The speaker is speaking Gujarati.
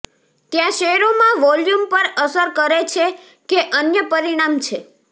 ત્યાં શેરોમાં વોલ્યુમ પર અસર કરે છે કે અન્ય પરિમાણ છે